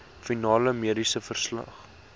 finale mediese verslag